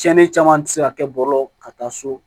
Tiɲɛni caman tɛ se ka kɛ bɔlɔlɔ ka taa so